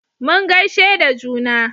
mun gaishe da juna